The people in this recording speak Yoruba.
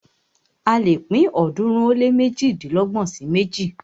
A lè pín ọ̀ọ́dúnrún ó lé méjìdínlọ́gbọ̀n sí méjì.